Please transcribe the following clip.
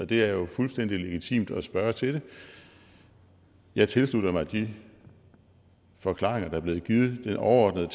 det er jo fuldstændig legitimt at spørge til det jeg tilslutter mig de forklaringer der er blevet givet det overordnede